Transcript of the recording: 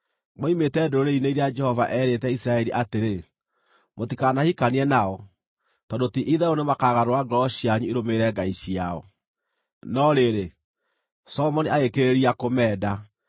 Moimĩte ndũrĩrĩ-inĩ iria Jehova eerĩte Isiraeli atĩrĩ, “Mũtikanahikanie nao, tondũ ti-itherũ nĩmakagarũra ngoro cianyu irũmĩrĩre ngai ciao.” No rĩrĩ, Solomoni agĩkĩrĩrĩria kũmeenda.